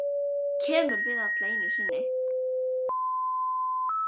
Þetta kemur fyrir alla einu sinni.